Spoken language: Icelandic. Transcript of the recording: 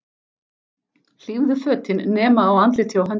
Hlífðu fötin nema á andliti og höndum.